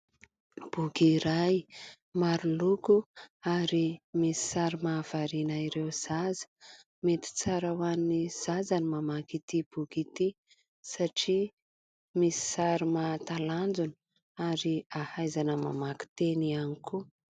Boky iray maro loko ary misy sary mahavariana ireo zaza. Mety tsara ho an'ny zaza ny mamaky ity boky ity satria misy sary mahatalanjona ary hahaizana mamaky teny ihany koa.